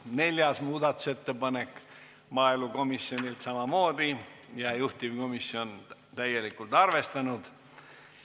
Neljas muudatusettepanek on maaelukomisjonilt ja samamoodi juhtivkomisjon on seda täielikult arvestanud.